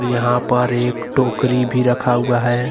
यहा पर एक टोकरी भी रखा हुआ है।